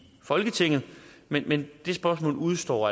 folketinget men men det spørgsmål udestår